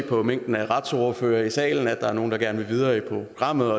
fra mængden af retsordførere i salen se at der er nogle der gerne vil videre i programmet